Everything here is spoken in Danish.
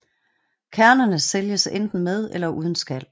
Kernerne sælges enten med eller uden skal